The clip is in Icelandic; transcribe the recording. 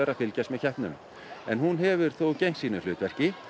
að fylgjast með keppnum hún hefur þó gegnt sínu hlutverki